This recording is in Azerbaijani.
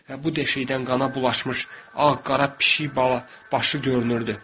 Və bu deşikdən qana bulaşmış ağ-qara pişik bala başı görünürdü.